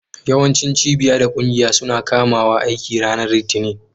Yawancin cibiya da ƙungiya suna kumawa aiki ranar Litinin.